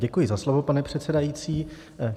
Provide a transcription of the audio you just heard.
Děkuji za slovo, pane předsedající.